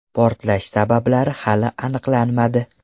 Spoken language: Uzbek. Portlash sabablari hali aniqlanmadi.